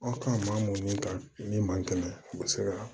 Aw kan maa mun ka ni maa kɛlɛ u bɛ se ka